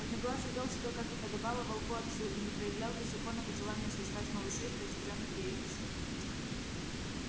одноглазый вёл себя как и подобало волку отцу и не проявлял беззаконного желания сожрать малышей произведённых ею на свет